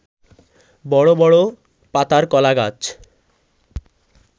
বড় বড় পাতার কলাগাছ